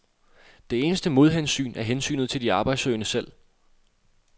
Det eneste modhensyn er hensynet til de arbejdssøgende selv.